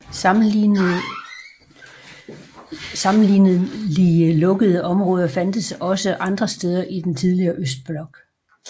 Sammenlignelige lukkede områder fandtes også andre steder i den tidligere østblok